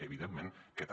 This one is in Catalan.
evidentment que també